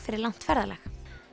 fyrir langt ferðalag